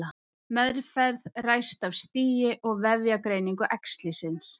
meðferð ræðst af stigi og vefjagreiningu æxlisins